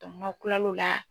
n'aw kila l'o la